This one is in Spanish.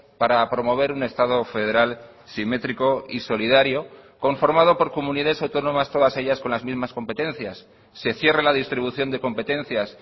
para promover un estado federal simétrico y solidario conformado por comunidades autónomas todas ellas con las mismas competencias se cierre la distribución de competencias